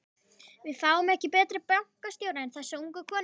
Við fáum ekki betri bankastjóra en þessa ungu konu.